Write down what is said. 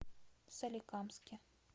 соликамске